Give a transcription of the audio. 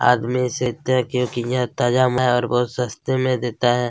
आदमी सीखते हैं क्योकि यह ताजा है और बहुत सस्ते में देता है।